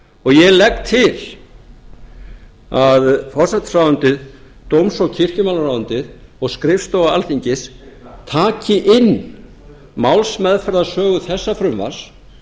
og ég legg til að forsætisráðuneytið dóms og kirkjumálaráðuneytið og skrifstofa alþingis taki inn málsmeðferðarsögu þessa frumvarps